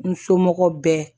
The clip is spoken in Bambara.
N somɔgɔw bɛɛ